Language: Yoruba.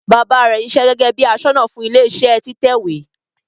Baba rẹ ṣiṣẹ́ gẹgẹ bi aṣọ́nà fún ilẹ iṣẹ títẹ ìwé.